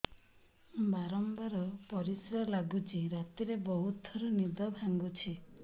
ବାରମ୍ବାର ପରିଶ୍ରା ଲାଗୁଚି ରାତିରେ ବହୁତ ଥର ନିଦ ଭାଙ୍ଗୁଛି